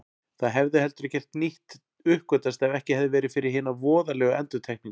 Það hefði heldur ekkert nýtt uppgötvast ef ekki hefði verið fyrir hina voðalegu endurtekningu.